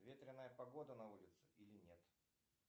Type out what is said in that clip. ветреная погода на улице или нет